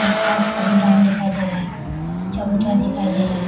आस-पास खाली ग्राउंड दिखाई दे रहा है चबूतरा दिखाई दे रहा है।